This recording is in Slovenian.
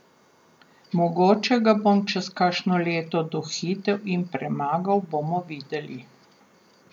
Mogoče ga bom čez kakšno leto dohitel in premagal, bomo videli.